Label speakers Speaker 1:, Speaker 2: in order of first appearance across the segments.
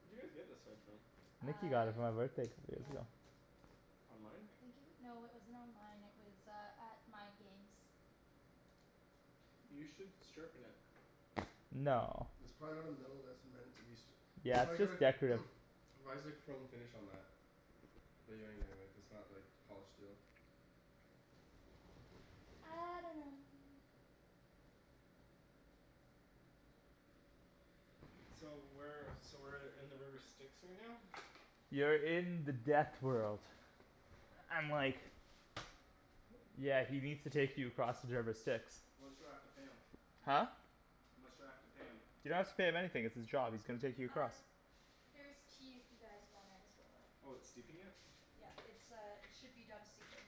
Speaker 1: Where'd you guys get this sword from?
Speaker 2: Nikki got it
Speaker 3: Uh
Speaker 2: for my birthday couple years
Speaker 3: yeah.
Speaker 2: ago.
Speaker 1: Online?
Speaker 3: I think it w- no it wasn't online. It was uh at Mind Games.
Speaker 1: You should sharpen it.
Speaker 2: No.
Speaker 4: It's probably not a metal that's meant to be st- it's
Speaker 2: Yeah,
Speaker 4: probably
Speaker 2: it's
Speaker 4: got a
Speaker 2: just decorative.
Speaker 4: why is there chrome finish on that? Bet you anything that that's not like polished steel.
Speaker 3: I dunno.
Speaker 1: So where so we're in the river Styx right now?
Speaker 2: You're in the death world. And like Yeah, he needs to take you across the river Styx.
Speaker 1: How much do I have to pay him?
Speaker 2: Huh?
Speaker 1: How much do I have to pay him?
Speaker 2: Didn't have to pay him anything; it's his job. He's gonna take you
Speaker 3: Uh,
Speaker 2: across.
Speaker 3: there's tea if you guys want there as well.
Speaker 1: Oh it's steeping it?
Speaker 3: Yeah, it's uh it should be done steeping.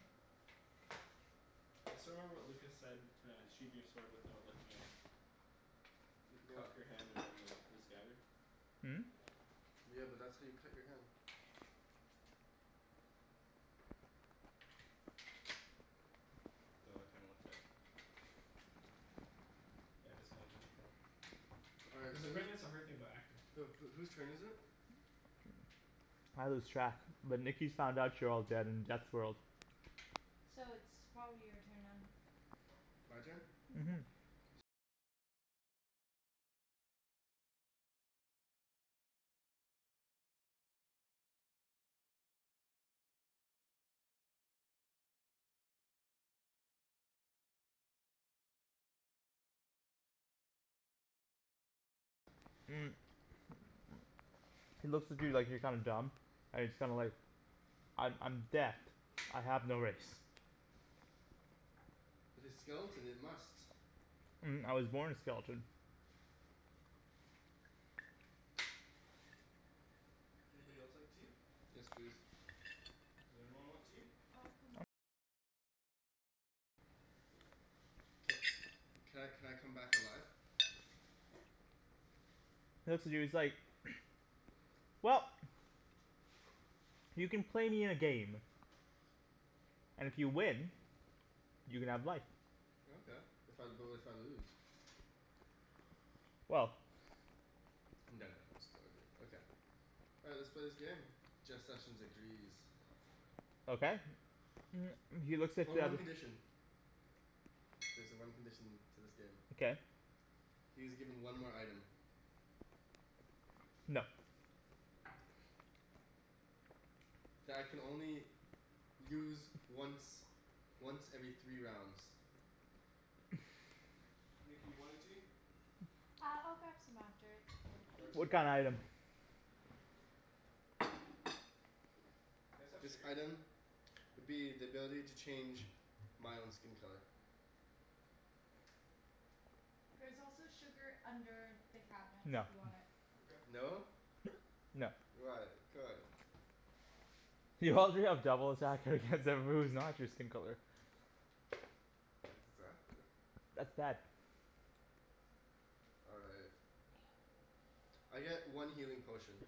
Speaker 1: I still remember what Lucas said to sheathe your sword without looking at it. You
Speaker 4: What?
Speaker 1: cup your hand around the the scabbard.
Speaker 2: Hmm?
Speaker 4: Yeah, but that's how you cut your hand.
Speaker 1: Oh I kinda looked that up. Yeah, that's kind of difficult.
Speaker 4: All right,
Speaker 1: Cuz
Speaker 4: so whose
Speaker 1: apparently that's a hard thing about acting.
Speaker 4: Who who whose turn is it?
Speaker 2: I lose track, but Nikki's found out you're all dead in Death's world.
Speaker 3: So it's probably your turn then.
Speaker 4: My turn?
Speaker 3: Mhm.
Speaker 2: Mhm. He looks at you like you're kinda dumb, and he's kinda like "I'm I'm Death. I have no race."
Speaker 4: But his skeleton, it must.
Speaker 2: "I was born a skeleton."
Speaker 1: Anybody else like tea?
Speaker 4: Yes, please.
Speaker 1: Does everyone want tea?
Speaker 4: Ca- can I can I come back alive?
Speaker 2: He looks at you he's like "Well, you can play me in a game, and if you win, you can have life.
Speaker 4: Okay. If I, but if I lose?
Speaker 2: Well
Speaker 4: I'm done, Daniel, I'm still good. All right, let's play this game. Jeff Sessions agrees.
Speaker 2: Okay he looks at
Speaker 4: Oh,
Speaker 2: the
Speaker 4: one condition. There's a one condition to this game.
Speaker 2: Okay
Speaker 4: He is given one more item.
Speaker 2: No.
Speaker 4: That I can only use once once every three rounds.
Speaker 1: Nikki you want any tea?
Speaker 3: Uh I'll grab some after, it's okay. Thank
Speaker 1: Arjan?
Speaker 3: you
Speaker 2: What
Speaker 3: though.
Speaker 2: kinda item?
Speaker 1: Do you guys have
Speaker 4: This
Speaker 1: sugar?
Speaker 4: item would be the ability to change my own skin color.
Speaker 3: There's also sugar under the cabinets if
Speaker 2: No.
Speaker 3: you want it.
Speaker 1: Mkay.
Speaker 4: No?
Speaker 2: No.
Speaker 4: Why? Come on.
Speaker 2: You already have double attack against everybody who's not your skin color.
Speaker 4: Exactly.
Speaker 2: That's bad.
Speaker 4: All right. I get one healing potion.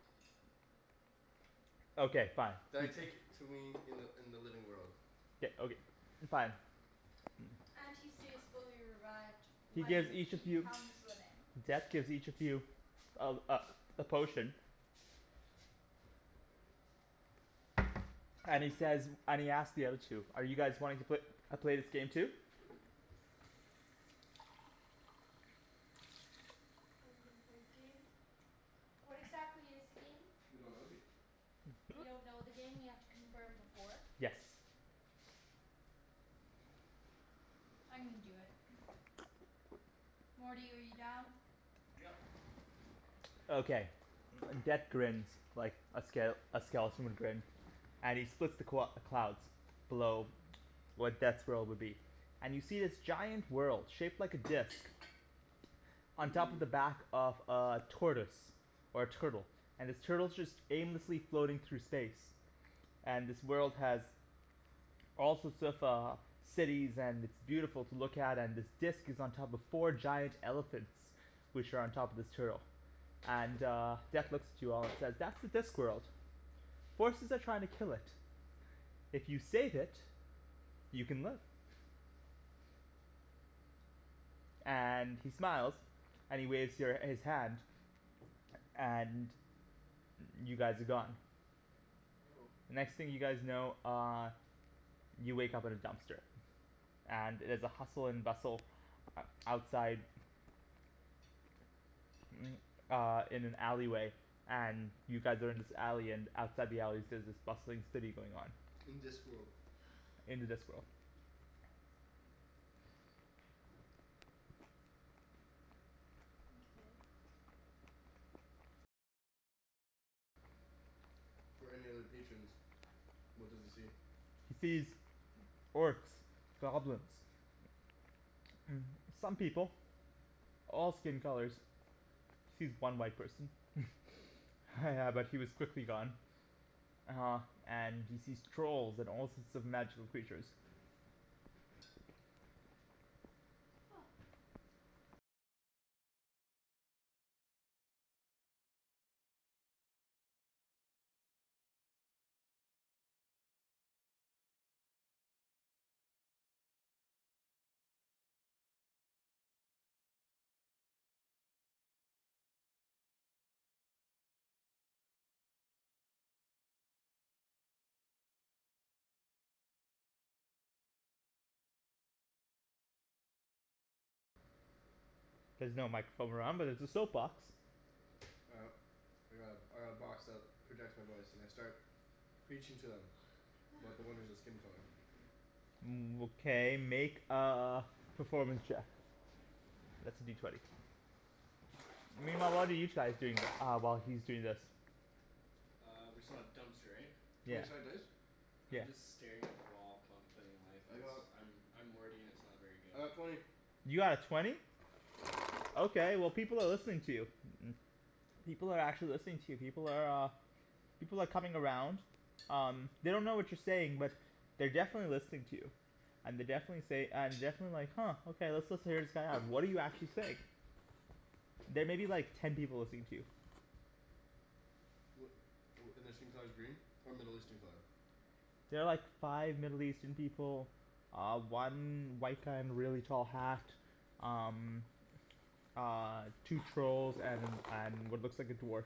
Speaker 2: Okay fine. You
Speaker 4: That I take to me in the in the living world.
Speaker 2: K okay, fine.
Speaker 3: And he stays fully erect
Speaker 2: He
Speaker 3: when
Speaker 2: gives each
Speaker 3: he
Speaker 2: of you,
Speaker 3: becomes living.
Speaker 2: Death gives each of you a uh a potion and he says, and he asks the other two: "Are you guys wanting to pla- play this game too?"
Speaker 3: Are we gonna play the game? What exactly is the game?
Speaker 4: We don't know yet.
Speaker 3: We don't know the game and we have to confirm before?
Speaker 2: Yes.
Speaker 3: I'm gonna do it. Morty, are you down?
Speaker 1: Yep.
Speaker 3: Okay.
Speaker 2: Okay. Death grins like a ske- a skeleton would grin. And he splits the qu- the clouds below where Death's world would be, and you see this giant world shaped like a disc on top of
Speaker 4: Mmm.
Speaker 2: the back of a tortoise or a turtle, and this turtle's just aimlessly floating through space. And this world has all sorts of uh cities and it's beautiful to look at and this disc is on top of four giant elephants which are on top of this turtle. And uh Death
Speaker 1: Mkay.
Speaker 2: looks at you all and says "That's the Discworld." "Forces are trying to kill it. If you save it, you can live." And he smiles and he waves your his hand. And y- you guys are gone.
Speaker 1: Oh.
Speaker 2: The next thing you guys know uh you wake up at a dumpster. And it is a hustle and bustle outside uh in an alley way and you guys are in this alley and outside the alleys there's this bustling city going on.
Speaker 4: In Discworld.
Speaker 2: In the Discworld.
Speaker 3: Mkay.
Speaker 4: for any other patrons. What does he see?
Speaker 2: He sees orcs, goblins some people. All skin colors. Sees one white person. Yeah but he was quickly gone. Uh and he sees trolls and all sorts of magical creatures. There's no microphone around but there's a soap box.
Speaker 4: All right. I got a I got a box that projects my voice and I start preaching to them about the wonders of skin color.
Speaker 2: Okay make a performance check. That's a D twenty. Meanwhile what are you chais doing the uh while he's doing this?
Speaker 1: Uh we're still at dumpster right?
Speaker 4: Twenty
Speaker 2: Yeah.
Speaker 4: sided dice?
Speaker 1: I'm just staring at the wall contemplating life
Speaker 4: I
Speaker 1: cuz
Speaker 4: got
Speaker 1: I'm I'm Morty and it's not very good.
Speaker 4: I got twenty.
Speaker 2: You got a twenty? Okay well, people are listening to you. People are actually listening to you. People are uh People are coming around. Um, they don't know what you're saying but they're definitely listening to you. And they definitely say and definitely like "Huh okay, let's listen hear this guy out." What do you actually say? There may be like ten people listening to you.
Speaker 4: Wh- wh- and their skin color's green? Or Middle Eastern color?
Speaker 2: There are like five Middle Eastern people. Uh one white guy in a really tall hat. Um Uh two trolls and and what looks like a dwarf.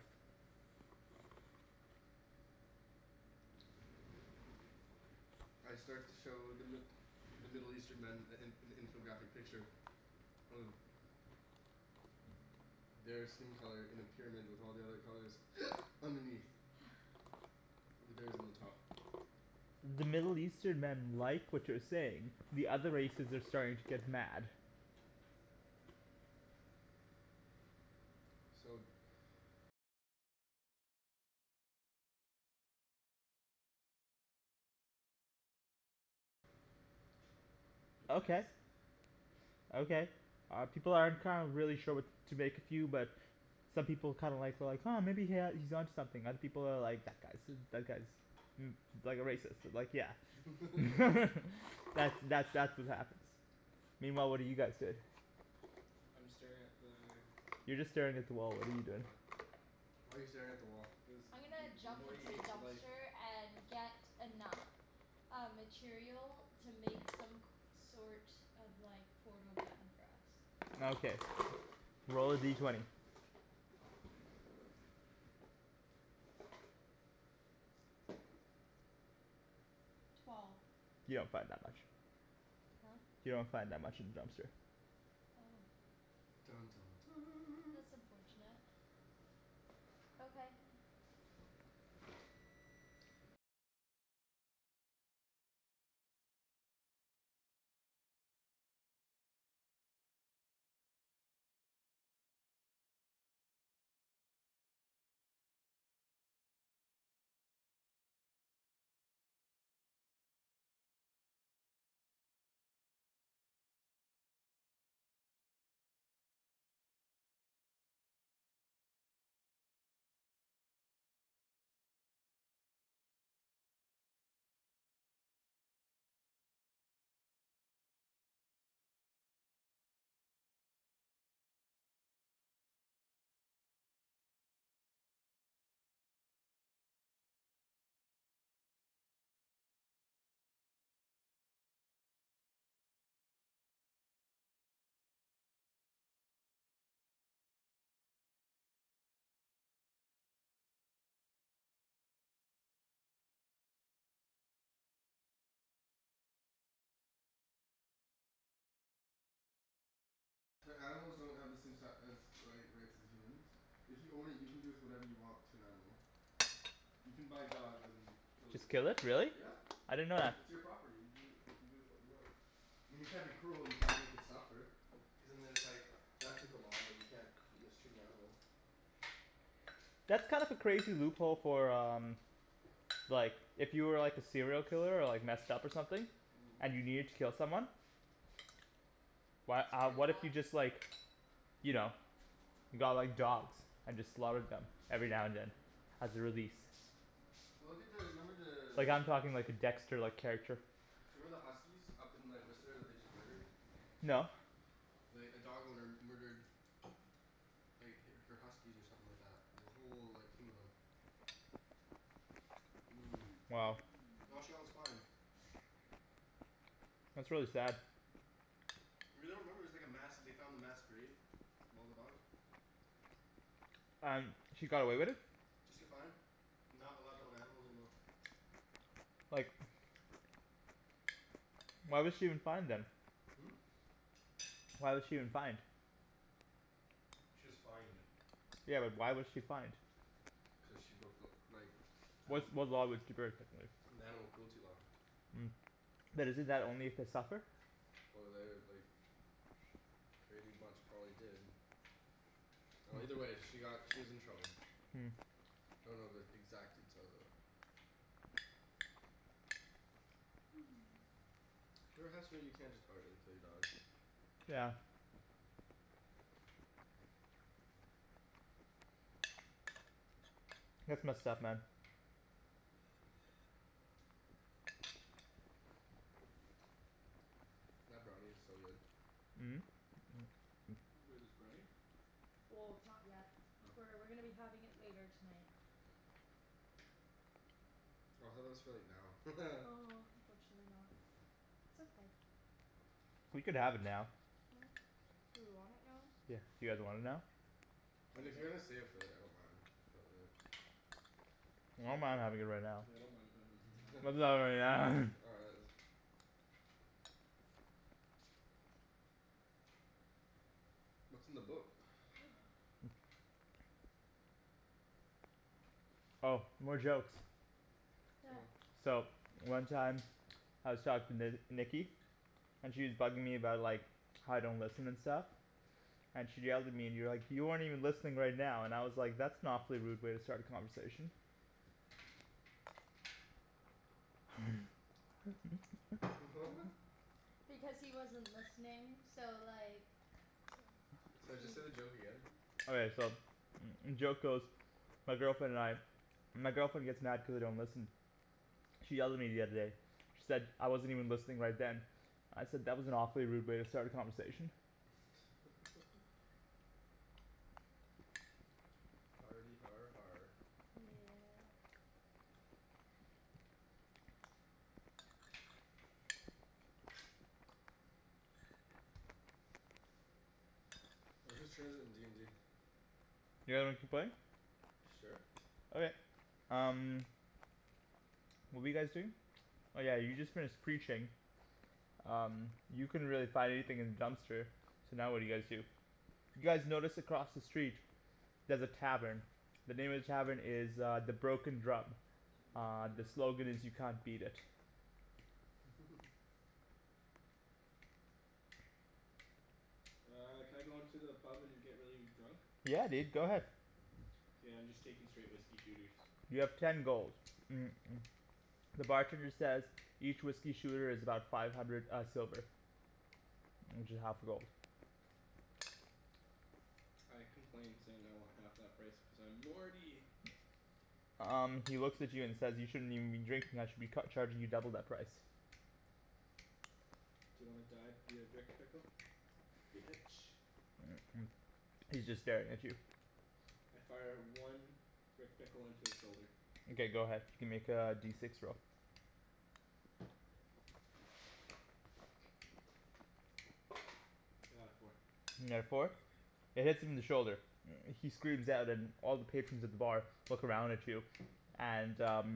Speaker 4: I start to show the Mi- the Middle Eastern men a an an infographic picture of their skin color in a pyramid with all the other colors underneath. With theirs on the top.
Speaker 2: The Middle Eastern men like what you're saying. The other races are starting to get mad.
Speaker 4: So
Speaker 2: Okay. Okay, uh people aren't kind of really sure what to make of you but some people kind of like well like "Huh maybe he ha- he's onto something." Other people are like "That guy's i- that guy's" "like a racist, like yeah" That's that that's what happens. Meanwhile what are you guys doing?
Speaker 1: I'm staring at the
Speaker 2: You're just staring at the wall, what are you doing?
Speaker 1: Yeah.
Speaker 4: Why are you staring at the wall?
Speaker 1: Cuz M-
Speaker 3: I'm gonna
Speaker 1: M- M-
Speaker 3: jump
Speaker 1: Morty
Speaker 3: into the
Speaker 1: hates life.
Speaker 3: dumpster and get enough uh material to make some c- sort of like portal gun for us.
Speaker 2: Okay, roll a D twenty.
Speaker 3: Twelve.
Speaker 2: You don't find that much.
Speaker 3: Huh?
Speaker 2: You don't find that much in the dumpster.
Speaker 3: Oh.
Speaker 4: Dun dun dun
Speaker 3: That's unfortunate. Okay.
Speaker 4: But animals don't have the same si- as like rights as the humans If you own it, you can do with whatever you want to an animal. You can buy a dog then kill it
Speaker 2: Just kill
Speaker 4: yourself.
Speaker 2: it? Really?
Speaker 4: Yeah.
Speaker 2: I didn't know that.
Speaker 4: It's your property. You do you can do with what you want. I mean you can't be cruel. You can't make it suffer. Cuz and then it's like that type of law. You can't mistreat an animal.
Speaker 2: That's kind of a crazy loophole for um Like if you were like a serial killer or like messed up or something and you needed to kill someone. Why
Speaker 3: It's
Speaker 2: uh
Speaker 3: pretty
Speaker 2: what if
Speaker 3: hot.
Speaker 2: you just like you know, got like dogs and just slaughtered them every now and then as a release?
Speaker 4: Well look at the, remember
Speaker 2: Like
Speaker 4: the
Speaker 2: I'm talking like a dexter-like character.
Speaker 4: Do you remember the huskies up in like Whistler that they just murdered?
Speaker 2: No.
Speaker 4: Like a dog owner murdered like h- her huskies or something like that. Like a whole like team of them. Mmm.
Speaker 2: Wow.
Speaker 4: And all she got was fined.
Speaker 2: That's really sad.
Speaker 4: You really don't remember, it was like a mass, they found a mass grave of all the dogs?
Speaker 2: And he got away with it?
Speaker 4: Just get fined. And not allowed to own animals anymore.
Speaker 2: Like Why was she even fined then?
Speaker 4: Hmm?
Speaker 2: Why was she even fined?
Speaker 4: She was fined.
Speaker 2: Yeah but why was she fined?
Speaker 4: Cuz she broke the like
Speaker 2: Which
Speaker 4: anima-
Speaker 2: what law was she breaking
Speaker 4: The animal cruelty law.
Speaker 2: But isn't that only if they suffer?
Speaker 4: Well, they like pretty much probably did. Well either way she got, she was in trouble. I don't know the exact details of it. There has to be you can't just outright kill your dog.
Speaker 2: Yeah. That's messed up man.
Speaker 4: That brownie's so good.
Speaker 1: Wait, there's brownie?
Speaker 3: Well, it's not yet.
Speaker 1: Oh.
Speaker 3: We're we're gonna be having it later tonight.
Speaker 4: Oh I thought that was for like now.
Speaker 3: Oh unfortunately not. It's okay.
Speaker 2: We could have it now.
Speaker 3: Huh? Do we want it now?
Speaker 2: Yeah, you guys want it now?
Speaker 4: Mean if
Speaker 1: Kinda.
Speaker 4: you're gonna save it for later, I don't mind. But like
Speaker 2: I
Speaker 4: S'all
Speaker 2: don't mind
Speaker 4: cool.
Speaker 2: having it right now.
Speaker 1: Yeah, I don't mind havin' it right now.
Speaker 4: All right let's What's in the book?
Speaker 2: Oh, more jokes.
Speaker 3: Yeah.
Speaker 4: Oh.
Speaker 2: So one time I was talking to Nikki and she's bugging me about like how I don't listen and stuff. And she yelled at me and you're like "You aren't even listening right now" and I was like "That's an awfully rude way to start a conversation."
Speaker 4: What?
Speaker 3: Because he wasn't listening. So like
Speaker 4: Sorry, just say the joke again?
Speaker 2: Okay so joke goes My girlfriend and I, my girlfriend gets mad cuz I don't listen. She yelled at me the other day. She said I wasn't even listening right then. I said "That was an awfully rude way to start a conversation."
Speaker 4: Hardy har har
Speaker 3: Yeah.
Speaker 4: All right, whose turn is it in d n d?
Speaker 2: You guys wanna keep playing?
Speaker 4: Sure.
Speaker 2: Okay, um What were you guys doing? Oh yeah, you just finished preaching. Um you couldn't really find anything in the dumpster. So now what do you guys do? You guys notice across the street there's a tavern. The name of the tavern is uh "The Broken Drum."
Speaker 1: Broken
Speaker 2: Uh the
Speaker 1: drill.
Speaker 2: slogan is "You can't beat it."
Speaker 1: Uh can I go into the pub and get really drunk?
Speaker 2: Yeah dude, go ahead.
Speaker 1: K, I'm just taking straight whiskey shooters.
Speaker 2: You have ten gold The bartender says "Each whiskey shooter is about five hundred uh silver. Which is half a gold.
Speaker 1: I complain saying I want half that price cuz I'm Morty!
Speaker 2: Um he looks at you and says "You shouldn't even be drinking, I should be cu- charging you double that price."
Speaker 1: D'you wanna die via Rick Pickle? Bitch.
Speaker 2: He's just staring at you.
Speaker 1: I fire one Rick Pickle into his shoulder.
Speaker 2: Mkay go ahead. You can make a D six roll.
Speaker 1: I got a four.
Speaker 2: You got a four? It hits him in the shoulder. He screams out and all the patrons at the bar look around at you and uh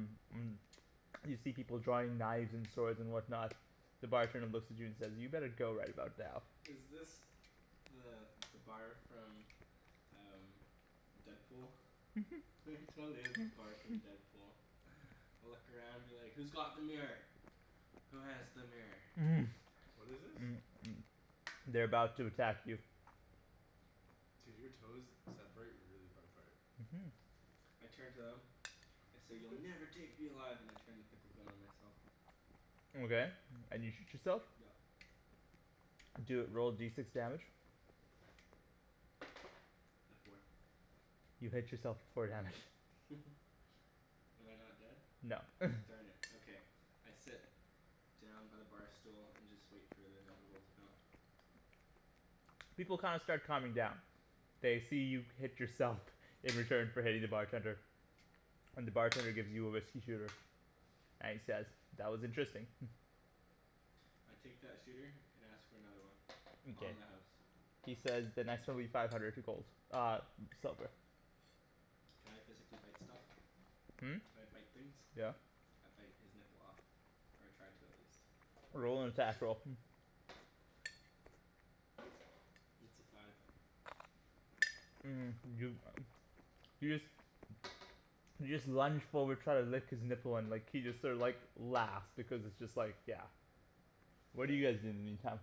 Speaker 2: You see people drawing knives and swords and whatnot. The bartender looks at you and says "you better go right about now."
Speaker 1: Is this the the bar from uh Deadpool? It totally is the bar from Deadpool. Look around and be like "Who's got the mirror? Who has the mirror?"
Speaker 4: What is this?
Speaker 2: They're about to attack you.
Speaker 4: Dude, your toes separate really far apart.
Speaker 2: Mhm.
Speaker 1: I turn to them, I say "You'll never take me alive!" and I turn the pickle gun on myself.
Speaker 2: Okay, and you shoot yourself?
Speaker 1: Yep.
Speaker 2: Do a, roll D six damage.
Speaker 1: A four.
Speaker 2: You hit yourself for four damage.
Speaker 1: Am I not dead?
Speaker 2: No
Speaker 1: Darn it, okay. I sit down by the bar stool and just wait for the inevitable to come.
Speaker 2: People kinda start calming down. They see you hit yourself. In return for hitting the bartender. And the bartender gives you a whiskey shooter and he says "That was interesting"
Speaker 1: I take that shooter and ask for another one on
Speaker 2: Mkay,
Speaker 1: the house.
Speaker 2: he says "The next one will be five hundred gold uh silver."
Speaker 1: Can I physically bite stuff?
Speaker 2: Hmm?
Speaker 1: Can I bite things?
Speaker 2: Yeah.
Speaker 1: I bite his nipple off. Or I try to at least.
Speaker 2: Roll an attack roll
Speaker 1: It's a five.
Speaker 2: you you just you just lunge forward try to lick his nipple and like he just sort of like laughs because it's just like yeah What do
Speaker 1: What?
Speaker 2: you guys do in the meantime?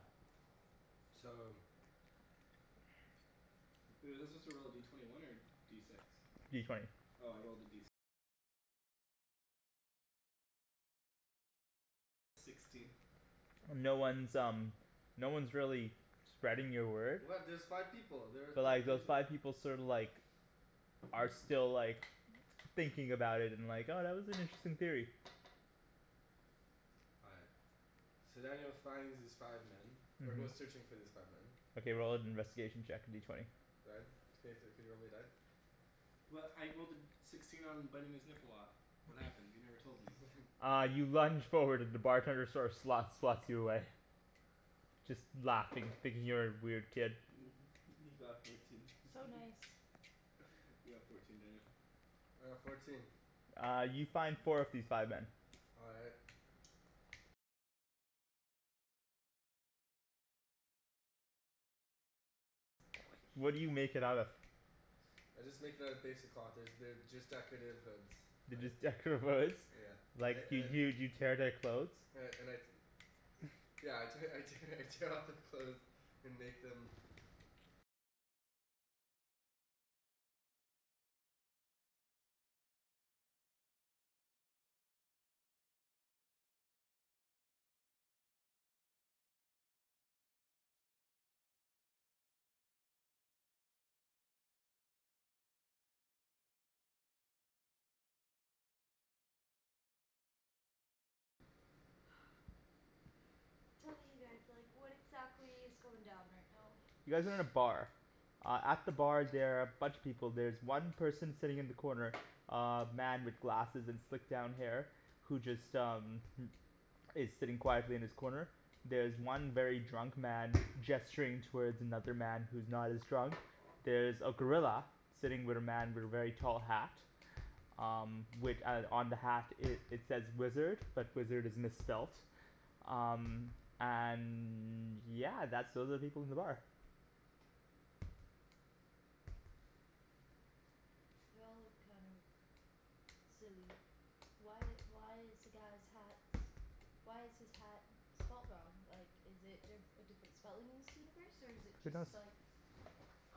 Speaker 4: So
Speaker 1: Was he supposed to roll a D twenty one or D six?
Speaker 2: D twenty. No one's um no one's really spreading your word.
Speaker 4: What? There's five people! There were
Speaker 2: But like
Speaker 4: five peop-
Speaker 2: those five people sorta like are still like thinking about it and like "Oh that was an interesting theory."
Speaker 4: All right. So then he'll finds these five men. Or goes
Speaker 2: Mhm.
Speaker 4: searching for these five men
Speaker 2: Okay, roll an investigation check, a D twenty.
Speaker 4: Ryan? Can you thr- can you roll me a die?
Speaker 1: Well I rolled a sixteen on biting his nipple off. What happened? You never told me.
Speaker 2: Uh you lunge forward and the bartender sort of slots slots you away. Just laughing, thinking you're a weird kid.
Speaker 1: He got fourteen
Speaker 3: So nice.
Speaker 1: You got fourteen, Daniel.
Speaker 4: All right, fourteen.
Speaker 2: Uh you find four of these five men.
Speaker 4: All right. I just make it out of basic cloth. There's they're just decorative hoods,
Speaker 2: They're
Speaker 4: like
Speaker 2: just decorative hoods?
Speaker 4: Yeah.
Speaker 2: Like
Speaker 4: I and
Speaker 2: y-
Speaker 4: I
Speaker 2: y- you tear their clothes?
Speaker 4: and I and I Yeah I te- I tear I tear off their clothes and make them
Speaker 3: Tell me you guys like what exactly is going down right now?
Speaker 2: You guys are in a bar. Uh at the bar there are a bunch of people. There's one person sitting in the corner uh man with glasses and slicked down hair who just um is sitting quietly in his corner. There's one very drunk man gesturing towards another man who's not as drunk. There's a gorilla. Sitting with a man with a very tall hat. Um wi- on the hat it says wizard, but wizard is misspelt. Um and yeah, that's all the people in the bar.
Speaker 3: They all look kind of silly. Why why is the guy's hat, why is his hat spelt wrong? Like is it di- a different spelling in this universe? Or is it
Speaker 2: Who knows?
Speaker 3: just like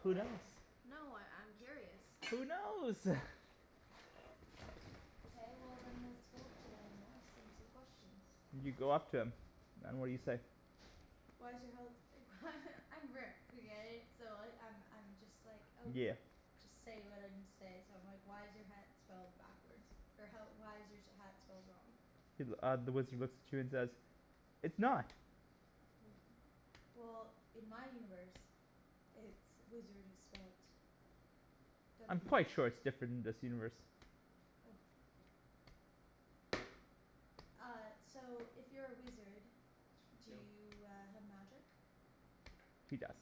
Speaker 2: Who knows?
Speaker 3: No, I I'm curious.
Speaker 2: Who knows?
Speaker 3: Okay well then let's go up to them and ask them some questions.
Speaker 2: You go up to him and what do you say?
Speaker 3: Why is your health I'm Rick okay? So I I'm I'm just like oh
Speaker 2: Yeah.
Speaker 3: Just say what I need to say so I'm like "Why is your hat spelled backwards, or how why is your hat spelled wrong?"
Speaker 2: He th- uh the wizard looks at you and says "It's not!"
Speaker 3: W- Well in my universe it's, wizard is spelt w
Speaker 2: I'm quite sure it's different in this universe.
Speaker 3: Oh. Uh so if you're a wizard, do
Speaker 1: Dill.
Speaker 3: you uh have magic?
Speaker 2: He does.